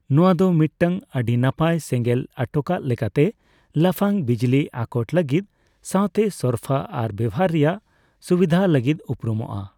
ᱱᱚᱣᱟ ᱫᱚ ᱢᱤᱛᱴᱟᱝ ᱟᱹᱰᱤ ᱱᱟᱯᱟᱭ ᱥᱮᱸᱜᱮᱞ ᱟᱴᱚᱠᱟᱜ ᱞᱮᱠᱟᱛᱮ, ᱞᱟᱯᱷᱟᱝ ᱵᱤᱡᱽᱞᱤ ᱟᱠᱚᱴ ᱞᱟᱹᱜᱤᱫ ᱥᱟᱣᱛᱮ ᱥᱚᱨᱯᱷᱟ ᱟᱨ ᱵᱮᱣᱦᱟᱨ ᱨᱮᱭᱟᱜ ᱥᱩᱵᱤᱫᱷ ᱞᱟᱹᱜᱤᱫ ᱩᱯᱩᱨᱩᱢᱚᱜᱼᱟ ᱾